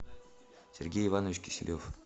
сергей иванович киселев